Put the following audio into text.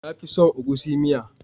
Na fi son egusi miya